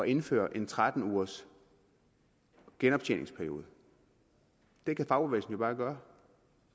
indføre en tretten ugers genoptjeningsperiode det kan fagbevægelsen jo bare gøre